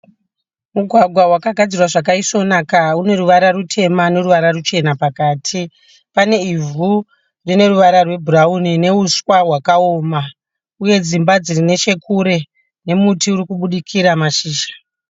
Mugwagwa wakagadzirwa zvakaisvonaka, une ruvara rutema neruvara ruchena pakati pane ivhu rine ruwara rwe bhurauni neuswa hwakaoma uye dzimba dzirinechekure nemuti urikubudikira mashizha.